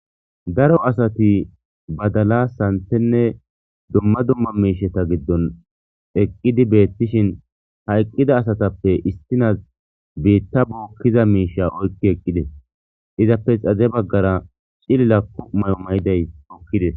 daro asati badala santenne dumma dumma miisheta giddon eqqidi beettishin hayqqida asatappe istinas beitta bookkiza miisha oykki eqqides izappe xaze baggara cililakku may7o mayiday ookkides